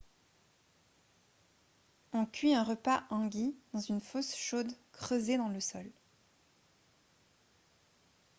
on cuit un repas hangi dans une fosse chaude creusée dans le sol